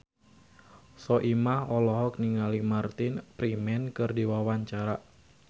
Soimah olohok ningali Martin Freeman keur diwawancara